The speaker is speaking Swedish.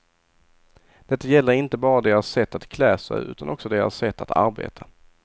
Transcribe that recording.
Detta gäller inte bara deras sätt att klä sig, utan också deras sätt att arbeta.